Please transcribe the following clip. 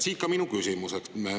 Siit ka minu küsimus.